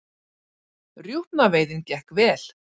Rjúpnaveiðin gekk vel